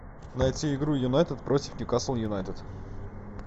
найти игру юнайтед против ньюкасл юнайтед